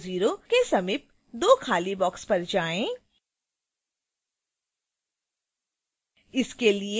300 के समीप दो खाली boxes पर जाएँ